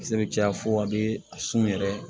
Kisɛ bɛ caya fo a bɛ sun yɛrɛ